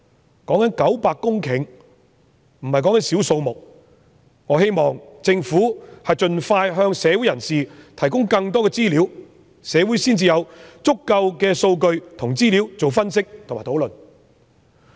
現時討論的900公頃不是少的數目，我希望政府盡快提供更多資料，讓社會有足夠的數據和資料進行分析和討論。